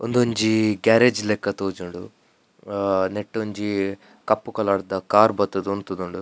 ಉಂದೊಂಜಿ ಗ್ಯಾರೇಜ್ ಲೆಕ ತೋಜುಂದುಂಡು ನೆಟ್ಟ್ ಒಂಜಿ ಕಪ್ಪು ಕಲರ್ದ ಕಾರ್ ಬತ್ತುದು ಉಂತುದುಂಡು.